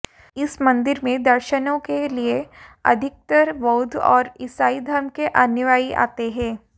इस मंदिर में दर्शनों के लिए अधिकतर बौद्ध और ईसाई धर्म के अनुयायी आते हैं